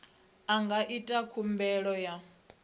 a nga ita khumbelo ya